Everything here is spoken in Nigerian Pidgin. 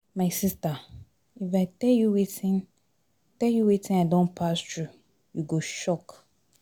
My sister, if I tell you wetin tell you wetin I don pass through you go shock.